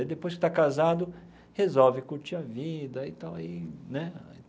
Depois que está casado, resolve curtir a vida e tal aí né.